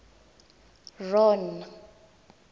ron